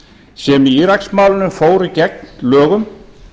sem í íraksmálinu fóru gegn lögum